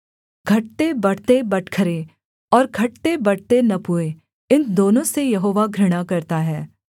घटतेबढ़ते बटखरे और घटतेबढ़ते नपुए इन दोनों से यहोवा घृणा करता है